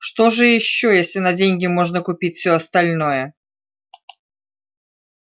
что же ещё если на деньги можно купить всё остальное